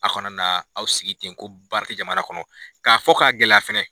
A kana na aw sigi ten ko baara te jamana kɔnɔ k'a fɔ k'a gɛlɛya fɛnɛ